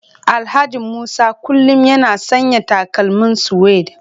Alhaji Musa kullum yana sanya takalmin suede